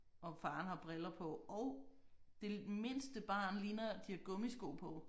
Og faren har briller på og det mindste barn ligner de har gummisko på